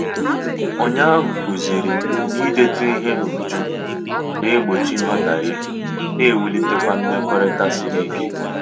Ụnyaahụ kụzirim na-idetu ihe n'uju na- egbochi nghotaghie na ewulitekwa mmekota sịrị ike.